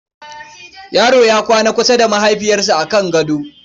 Yaro ya kwanta kusa da mahaifinsa a kan gaɗo.